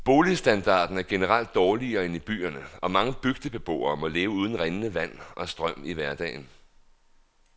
Boligstandarden er generelt dårligere end i byerne, og mange bygdebeboere må leve uden rindende vand og strøm i hverdagen.